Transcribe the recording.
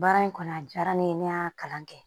Baara in kɔni a diyara ne ye ne y'a kalan kɛ